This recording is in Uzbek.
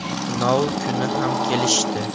Tunov kuni ham kelishdi.